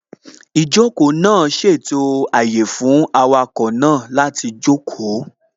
Ìjókòó náà ṣètò àyè fún awakọ̀ náà láti jókòó